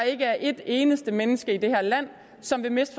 ikke er et eneste menneske i det her land som vil miste